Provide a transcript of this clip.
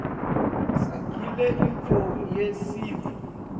sagile yintfo yesintfu